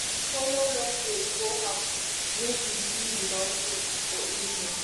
we follow long road go house make we see di mountain for evening